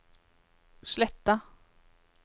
Sletta